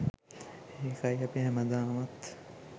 ඒකයි අපි හැමදාමත්